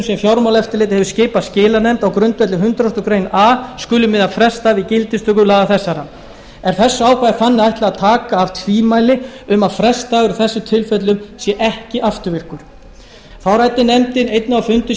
sem fjármálaeftirlitið hefur skipað skilanefnd á grundvelli hundrað greinar a skuli miða frestdag við gildistöku laga þessara er þessu ákvæði þannig ætlað að taka af tvímæli um að frestdagur í þessum tilfellum sé ekki afturvirkur þá ræddi nefndin einnig á fundum